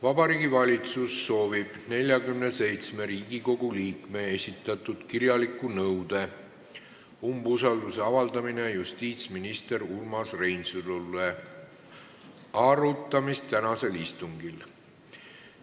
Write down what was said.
Vabariigi Valitsus soovib 47 Riigikogu liikme esitatud kirjaliku nõude "Umbusalduse avaldamine justiitsminister Urmas Reinsalule" arutamist tänasel istungil.